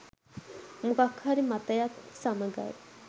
මොකක් හරි මතයක් සමඟයි.